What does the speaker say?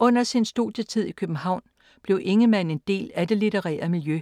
Under sin studietid i København blev Ingemann en del af det litterære miljø